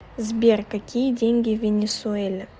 сбер какие деньги в венесуэле